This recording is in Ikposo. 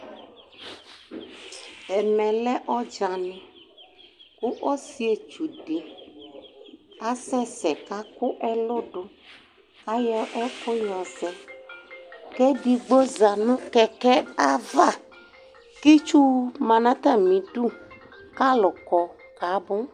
ɛmɛ lɛ ɔdzani ko ɔsietsu di asɛ sɛ ko akó ɛlɔ do ayɔ ɛko yɔzɛ ko edigbo za no kɛkɛ ava ko itsu ma n'atami du k'alò kɔ kabó